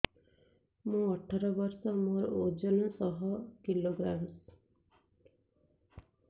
ମୁଁ ଅଠର ବର୍ଷ ମୋର ଓଜନ ଶହ କିଲୋଗ୍ରାମସ